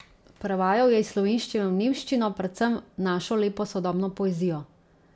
Prevajal je iz slovenščine v nemščino, predvsem našo lepo sodobno poezijo.